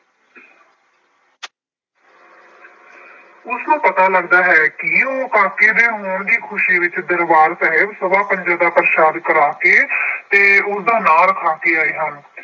ਉਸਨੂੰ ਪਤਾ ਲੱਗਦਾ ਹੈ ਕਿ ਉਹ ਕਾਕੇ ਦੇ ਹੋਣ ਦੀ ਖੁਸ਼ੀ ਵਿੱਚ ਦਰਬਾਰ ਸਾਹਿਬ ਸਵਾ ਪੰਜਾ ਦਾ ਪ੍ਰਸ਼ਾਦ ਕਰਾਕੇ ਤੇ ਉਸਦਾ ਨਾਂ ਰੱਖਾ ਕੇ ਆਏ ਹਨ।